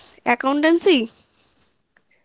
accountancy